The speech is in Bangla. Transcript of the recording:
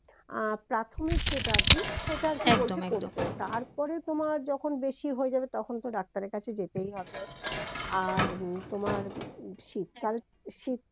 আহ প্রাথমিক যেটা আরকি সেটা আরকি বলছে করতে একদম একদম তারপরে তোমার যখন বেশি হয়ে যাবে তখন ডাক্তারের কাছে যেতেই হবে আর উম তোমার শীতকাল শীত